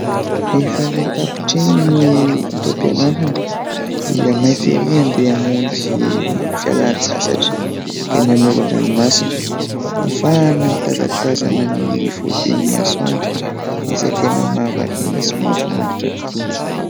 Rehefa ilay tapitra iny ny taom-pianarana dia maika ery handeha hamonjy ny fialan-tsasatra eny amoron-dranomasina, fa na mitazatazana ny fodian'ny masoandro, izay tena mahavariana sy mahafinaritra tokoa.